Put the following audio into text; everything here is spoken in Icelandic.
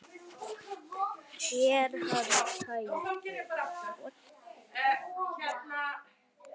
Er hann mjög tæpur?